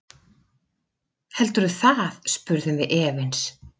Heldurðu það, spurðum við efins.